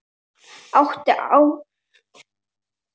Átta árum síðan mættust liðin.